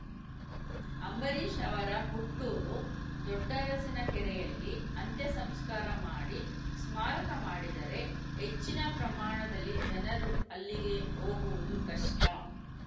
ಅಂಬರೀಷ್‌ ಅವರ ಹುಟ್ಟೂರು ದೊಡ್ಡರಸಿನಕೆರೆಯಲ್ಲಿ ಅಂತ್ಯ ಸಂಸ್ಕಾರ ಮಾಡಿ ಸ್ಮಾರಕ ಮಾಡಿದರೆ ಹೆಚ್ಚಿನ ಪ್ರಮಾಣದಲ್ಲಿ ಜನರು ಅಲ್ಲಿಗೆ ಹೋಗುವುದು ಕಷ್ಟ